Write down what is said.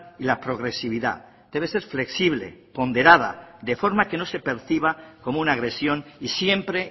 y la progresividad debe ser flexible ponderada de forma que no se perciba como una agresión y siempre